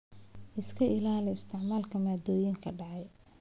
Iska ilaali isticmaalka maaddooyinka dhacay.